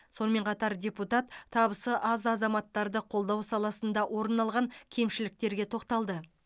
сонымен қатар депутат табысы аз азаматтарды қолдау саласында орын алған кемшіліктерге тоқталды